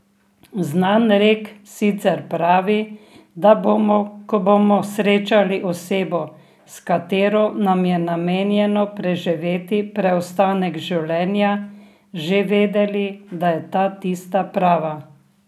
Znan rek sicer pravi, da bomo, ko bomo srečali osebo, s katero nam je namenjeno preživeti preostanek življenja, že vedeli, da je ta tista prava.